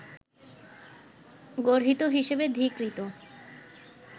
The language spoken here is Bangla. গর্হিত হিসাবে ধীকৃত